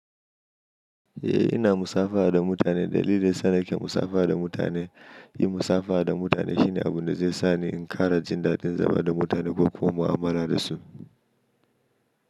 Eh ina musafaha da mutane. Dalilin san nake musafaha da mutane, yi musafaha da mutane shine abun da zai sa ni in kara jindaɗin zama da mutane ko kuma'u'amala da su.